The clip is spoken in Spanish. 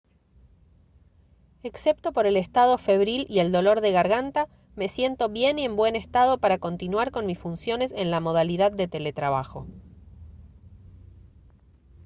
excepto por el estado febril y el dolor de garganta me siento bien y en buen estado para continuar con mis funciones en la modalidad de teletrabajo